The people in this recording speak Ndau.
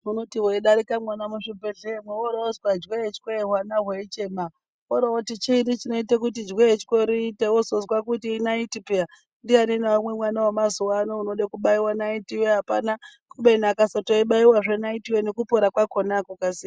Unoti weidarika mwona muzvibhedhleyamwo, woroozwa jwee-chwee, hwana hweichema, worooti chiini chinoite kuti jwee-chwee riite, wozozwe kuti inaiti pheya ,ndiani mwana wemazuwa ano unode kubaiwe naiti apana ,kubeni akasatoibaiwazve naiti yo nekupora kwakhona akukasiri.